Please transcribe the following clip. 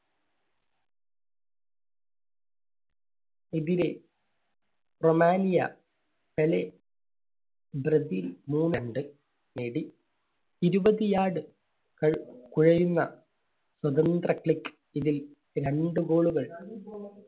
എതിരെ Romania, Pele Brazil നേടി. ഇരുപത് yard സ്വതന്ത്ര click ഇതിൽ രണ്ട് ഗോളുകൾ